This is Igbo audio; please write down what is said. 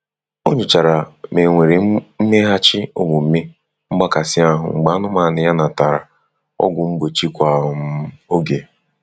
O nyochara ma e nwere mmeghachi omume mgbakasị ahụ́ mgbe anụmanụ ya natara ọgwụ mgbochi kwa um oge.